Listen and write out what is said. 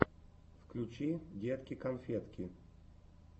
включи детки конфетки